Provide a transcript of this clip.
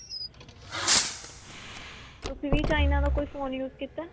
ਤੁਸੀਂ ਵੀ china ਦਾ ਕੋਈ phone use ਕੀਤਾ